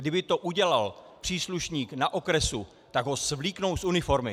Kdyby to udělal příslušník na okrese, tak ho svléknou z uniformy!